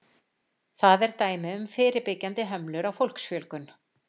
Það er dæmi um fyrirbyggjandi hömlur á fólksfjölgun.